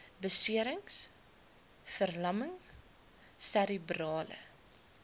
beserings verlamming serebrale